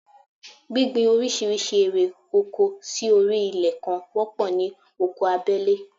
Gbíngbin oríṣiríṣi ère oko sí orí ilẹ̀ kan wọ́pọ̀ ní oko abẹ́lé